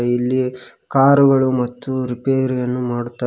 ಇಲ್ಲಿ ಕಾರುಗಳು ಮತ್ತು ರಿಪೇರಿಯನ್ನು ಮಾಡುತ್ತಾ--